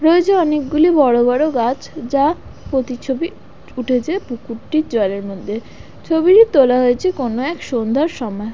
রয়েছে অনেকগুলি বড় বড় গাছ যার প্রতিচ্ছবি ফুটেছে পুকুরটির জলের মধ্যে। ছবিটি তোলা হয়েছে কোনো এক সন্ধ্যার সময়।